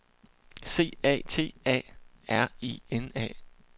C A T A R I N A